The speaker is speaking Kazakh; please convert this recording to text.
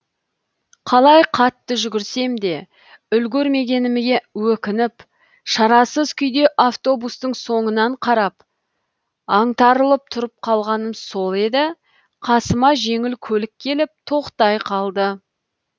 қалай қатты жүгірсем де үлгермегеніме өкініп шарасыз күйде автобустың соңынан қарап аңтарылып тұрып қалғаным сол еді қасыма жеңіл көлік келіп тоқтай қалды